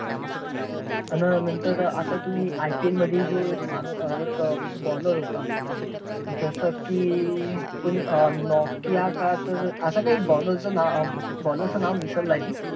आन नंतर आता तुम्ही IPL मध्ये एक माणू~ अं एक bowler होता. जसे की नोकिया का असं काही bowler चा नाव अं bowler चं नाव विसरला आहे मी.